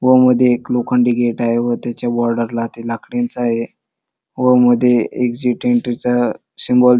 व मध्ये एक लोखंडी गेट आहे व त्याच्या बोर्ड वरती लाकडीच आहे व मध्ये एक्झिट एन्ट्री च सिम्बाॅल --